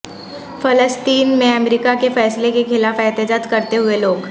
فلسطین میں امریکہ کے فیصلہ کے خلاف احتجاج کرتے ہوئے لوگ